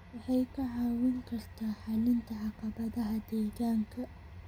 waxay kaa caawin kartaa xallinta caqabadaha deegaanka.